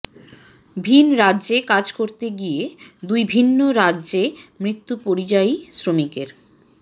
ভিন রাজ্যে কাজ করতে গিয়ে দুই ভিন্ন রাজ্যে মৃত্যু পরিযায়ী শ্রমিকের